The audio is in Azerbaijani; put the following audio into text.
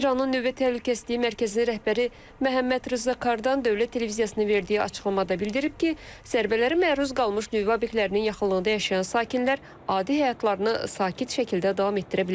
İranın nüvə təhlükəsizliyi mərkəzinin rəhbəri Məhəmməd Rza Kardan Dövlət Televiziyasına verdiyi açıqlamada bildirib ki, zərbələrə məruz qalmış nüvə obyektlərinin yaxınlığında yaşayan sakinlər adi həyatlarını sakit şəkildə davam etdirə bilərlər.